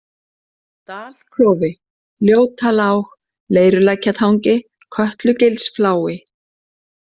Dalklofi, Ljótalág, Leirulækjartangi, Kötlugilsflái